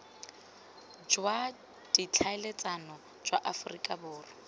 jwa ditlhaeletsano jwa aforika borwa